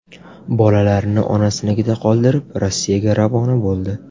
Bolalarini onasinikida qoldirib, Rossiyaga ravona bo‘ldi.